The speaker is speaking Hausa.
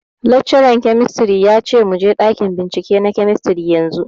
Laccaran kemistri ya ce muje ɗakin bincike na kemistri yanzu